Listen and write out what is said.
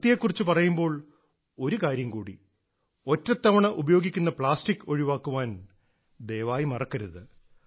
വൃത്തിയെക്കുറിച്ച് പറയുമ്പോൾ ഒരു കാര്യം കൂടി ഒറ്റത്തവണ ഉപയോഗിക്കുന്ന പ്ലാസ്റ്റിക് ഒഴിവാക്കാൻ ദയവായി മറക്കരുത്